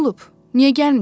Niyə gəlmisən?